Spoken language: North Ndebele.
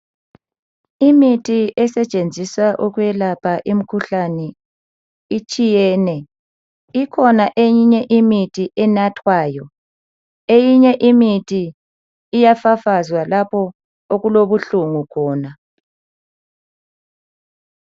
Imithi esetshenziswa ukwelapha imkhuhlane etshiyene ikhona eyinye imithi enathwayo eyinye imithi iyafafazwa lapho okulobuhlungu khona